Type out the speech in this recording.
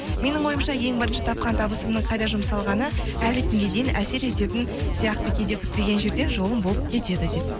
менің ойымша ең бірінші тапқан табысымның қайда жұмсалғаны әлі күнге дейін әсер ететін сияқты кейде күтпеген жерден жолым болып кетеді дейді